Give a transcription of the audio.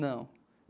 Não.